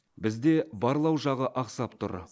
бізде барлау жағы ақсап тұр